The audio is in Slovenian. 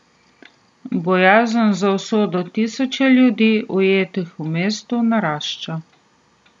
Bojazen za usodo tisoče ljudi, ujetih v mestu, narašča.